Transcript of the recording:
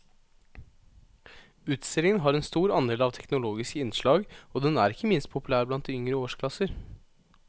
Utstillingen har en stor andel av teknologiske innslag og den er ikke minst populær blant de yngre årsklasser.